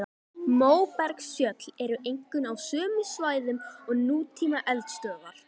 Móbergsfjöll eru einkum á sömu svæðum og nútíma eldstöðvar.